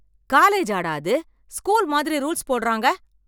காலேஜாடா அது, ஸ்கூல் மாதிரி ரூல்ஸ் போடறாங்க.